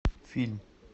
фильм